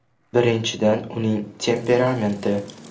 Birinchidan uning temperamenti.